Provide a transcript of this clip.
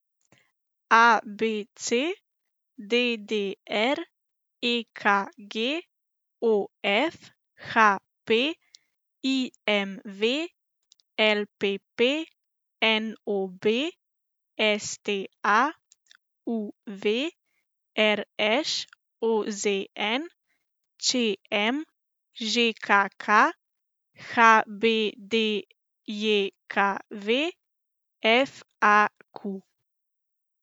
A B C; D D R; E K G; O F; H P; I M V; L P P; N O B; S T A; U V; R Š; O Z N; Č M; Ž K K; H B D J K V; F A Q.